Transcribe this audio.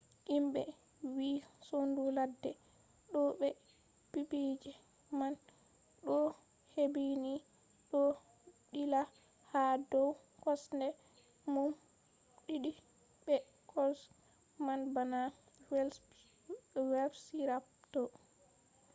himɓe wi sondu ladde ɗo be pippige man ɗo hebbini ɗo ɗilla ha dow kosɗe mum ɗiɗi be kolş man bana velpsirapto